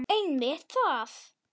Einmitt það!